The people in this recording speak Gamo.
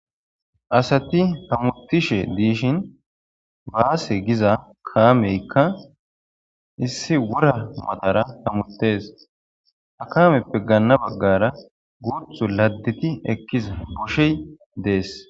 asati hamutishe diishin baase giza kaameykka issi wora matara hamutees ha kameppe gaanna baggara guuthu ladditi ekkiza boshey dees